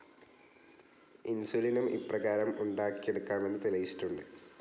ഇൻസുലിനും ഇപ്രകാരം ഉണ്ടാക്കിയെടുക്കാമെന്ന് തെളിയിച്ചിട്ടുണ്ട്.